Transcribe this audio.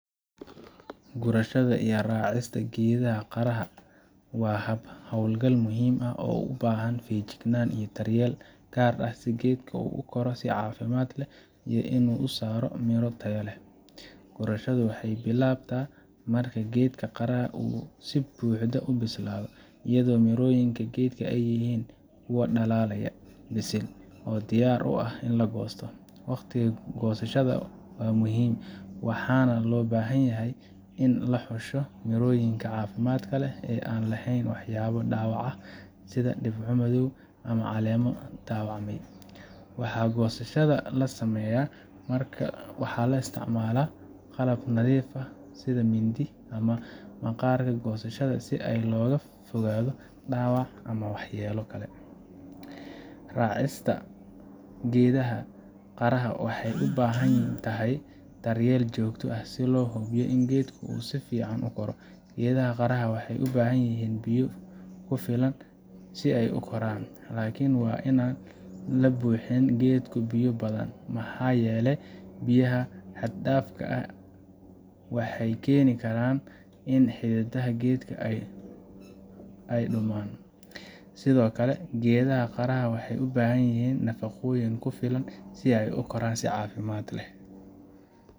Gurashada iyo raacista geedaha qaraha waa hab hawlgal muhiim ah oo u baahan feejignaan iyo daryeel gaar ah si geedka uu u koro si caafimaad leh iyo inuu soo saaro miro tayo leh. Gurashadu waxay bilaabataa marka geedka qaraha uu si buuxda u bislaado, iyadoo mirooyinka geedka ay yihiin kuwo dhalaalaya, bisil, oo diyaar u ah in la goosto. Waqtiga goosashada waa muhiim, waxaana loo baahan yahay in la xusho mirooyin caafimaad leh oo aan lahayn waxyaabo dhaawac ah sida dhibco madow ama caleemo dhaawacmay. Marka goosashada la sameynayo, waxaa la isticmaalaa qalab nadiif ah sida mindi ama maqaarka goosashada, si looga fogaado dhaawac ama waxyeello geedka. Raacista geedaha qaraha waxay u baahan tahay daryeel joogto ah si loo hubiyo in geedku uu si fiican u koro. Geedaha qaraha waxay u baahan yihiin biyo ku filan si ay u koraan, laakiin waa in aan la buuxin geedku biyo badan, maxaa yeelay biyaha xad dhaafka ahi waxay keeni karaan in xididada geedka ay . Sidoo kaldhumaane, geedaha qaraha waxay u baahan yihiin nafaqooyin ku filan si ay u koraan si caafimaad leh.